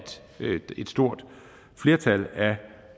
et stort flertal af